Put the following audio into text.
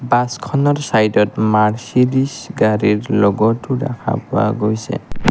বাছখনৰ চাইডত মাৰ্চিদিচ গাড়ীৰ ল'গতো দেখা পোৱা গৈছে।